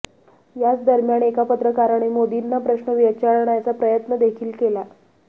याच दरम्यान एका पत्रकाराने मोदींना प्रश्न विचारण्याचा प्रयत्न देखील केला